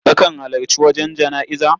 Kakan halarci wajen jana'iza?